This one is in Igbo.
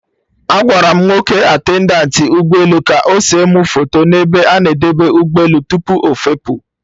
Agwara m nwoke attendantị ụgbọ elu ka ọ se mụ foto n'ebe a na-edebe ụgbọ elu tupu ọfepụ